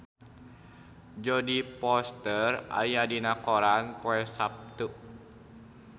Jodie Foster aya dina koran poe Saptu